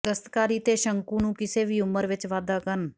ਦਸਤਕਾਰੀ ਤੇ ਸ਼ੰਕੂ ਨੂੰ ਕਿਸੇ ਵੀ ਉਮਰ ਵਿਚ ਵਾਧਾ ਕਰਨ